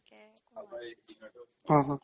অ হ